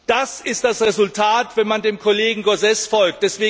Das ist das Resultat, wenn man dem Kollegen Gauzès folgt.